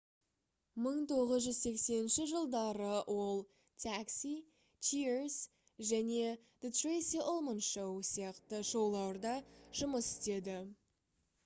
1980 жылдары ол taxi cheers және the tracey ullman show сияқты шоуларда жұмыс істеді